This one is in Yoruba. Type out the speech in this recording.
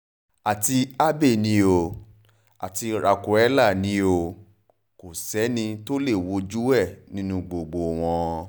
àti abbey ni o àti raquela ni o o kò sẹ́ni tó lè wojú ẹ̀ nínú gbogbo wọn